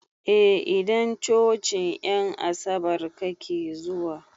A idan cocin en asabar kake zuwa